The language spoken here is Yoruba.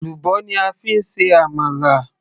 èlùbọ́ ni a fi ń ṣe àmàlà